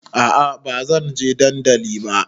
A'a bazan je dandali ba